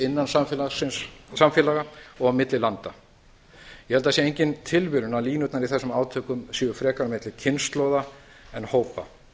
innan samfélaga og á milli landa ég held að það sé engin tilviljun að línurnar í þessum átökum séu frekar milli kynslóða en hópa